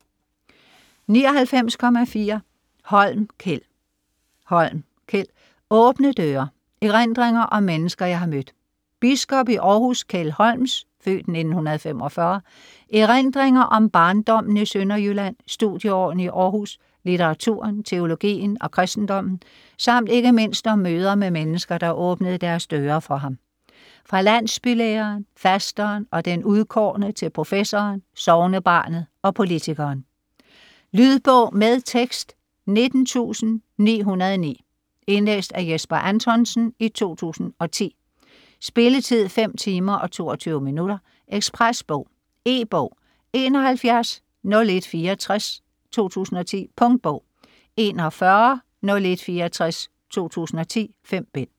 99.4 Holm, Kjeld Holm, Kjeld: Åbne døre: erindringer om mennesker jeg har mødt Biskop i Århus, Kjeld Holms (f. 1945) erindringer om barndommen i Sønderjylland, studieårene i Århus, litteraturen, teologien og kristendommen samt ikke mindst om møder med mennesker, der åbnede deres døre for ham - fra landsbylæreren, fasteren og den udkårne til professoren, sognebarnet og politikeren. Lydbog med tekst 19909 Indlæst af Jesper Anthonsen, 2010. Spilletid: 5 timer, 22 minutter. Ekspresbog E-bog 710164 2010. Punktbog 410164 2010. 5 bind.